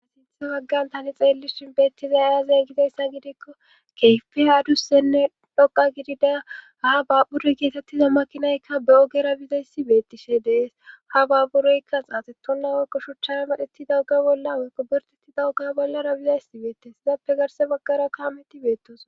a sinthe waggan tani xeellishin beettiza iyaze gidayssa gidikko keyfe adussenne dhoqa gidida ha babburoy geetettiza makinaykka be ogera bizayssi beettishe dees ha baabburoykka xaaxe tonna woykko shuchchara medhetti dawuga bolla woykko birteti dawuka bollara bizaysi beettes izappe garse baggara kaametti beettos